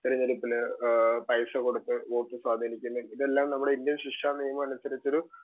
speaker 2 തെരഞ്ഞെടുപ്പില് ആഹ് പൈസ കൊടുത്ത് സ്വാധീനിക്കുന്നു ഇതെല്ലാം നമ്മുടെ ഇന്ത്യൻ ശിക്ഷാനിയമമനുസരിച്ചൊരു